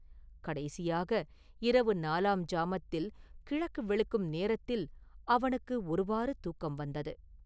கடைசியாக, இரவு நாலாம் ஜாமத்தில் கிழக்கு வெளுக்கும் நேரத்தில் அவனுக்கு ஒருவாறு தூக்கம் வந்தது.